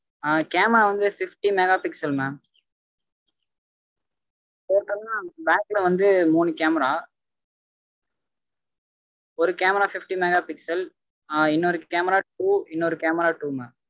அஹ் camera வந்து fifty mega pixel mamtotal ஆஹ் back ல வந்து மூனு camera. ஒரு camerafifty mega pixel ஆஹ் இன்னொரு cameratwo இன்னொரு cameratwo mam